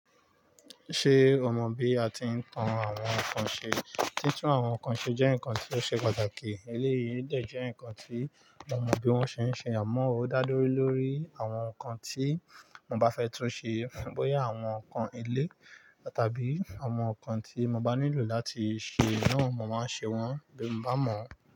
Ṣé o mọ̀ bí a ti ń tan àwọn nǹkan ṣe? Títún àwọn nǹkan ṣe jẹ́ nǹkan tí ó ṣe pàtàkì. Eléyìí dẹ̀ jẹ́ nǹkan tí mo mọ bí wọ́n ṣe ń ṣe, àmọ́ ó dá lórí lórí àwọn nǹkan tí mo bá fẹ́ tún ṣe. Bóyá àwọn nǹkan ilé tàbí àwọn nǹkan tí mo bá nílò láti ṣe náà, mo máa ṣe wọ́n bí mo bá mọ̀.